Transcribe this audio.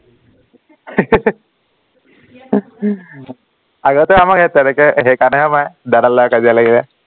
আগতে আমাক সেই তেনেকে সেইকাৰণেহে মাৰে দাদাৰ লগত কাজিয়া লাগিলে